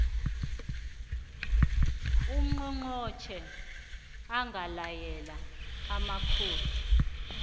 ungqongqotjhe angalayela amakhosi